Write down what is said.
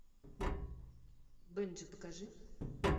бенджи покажи